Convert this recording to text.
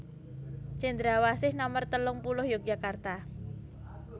Cendrawasih nomer telung puluh Yogyakarta